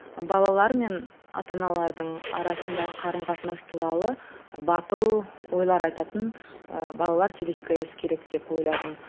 балалар мен ата аналардың арасындағы қарым қатынас туралы батыл ойлар айтатын ыыы балалар телехикаясы керек деп ойладым